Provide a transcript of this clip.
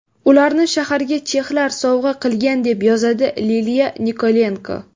Ularni shaharga chexlar sovg‘a qilgan” deb yozadi Liliya Nikolenko.